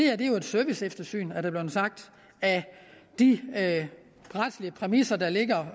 er jo et serviceeftersyn er der blevet sagt af de retslige præmisser der ligger